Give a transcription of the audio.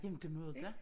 Jamen det må det da